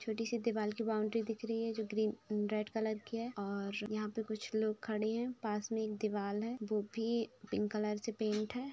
छोटी सी दीवाल की बाउंड्री दिख रही है जोकि ग्रीन रेड कलर की है और यहाँ पर कुछ लोग खड़े हैं। पास में एक दीवाल है जोकि पिंक कलर से पेंट है।